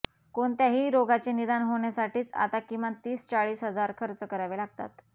कोणत्याही रोगाचे निदान होण्यासाठीच आता किमान तीस चाळीस हजार खर्च करावे लागतात